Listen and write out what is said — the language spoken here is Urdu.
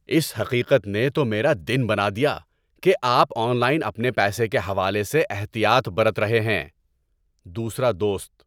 اس حقیقت نے تو میرا دن بنا دیا کہ آپ آن لائن اپنے پیسے کے حوالے سے احتیاط برت رہے ہیں۔ (دوسرا دوست)